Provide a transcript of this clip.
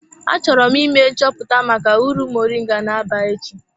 Achọrọ m ime nchọpụta maka uru moringa na-aba echi.